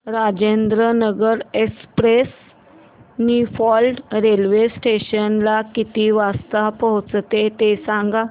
Rajendranagar express Niphad railway station ला किती वाजता पोहचते ते सांग